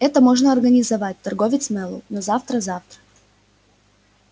это можно организовать торговец мэллоу но завтра завтра